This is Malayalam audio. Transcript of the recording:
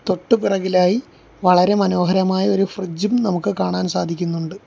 തൊട്ട് പിറകിലായി വളരെ മനോഹരമായ ഒരു ഫ്രിഡ്ജ് ഉം നമുക്ക് കാണാൻ സാധിക്കുന്നുണ്ട്.